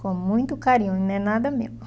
Com muito carinho, e não é nada meu.